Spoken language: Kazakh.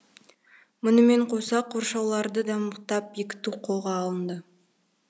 мұнымен қоса қоршауларды да мықтап бекіту қолға алынды